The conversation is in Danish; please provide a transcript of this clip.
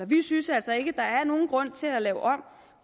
vi synes altså ikke der er nogen grund til at lave om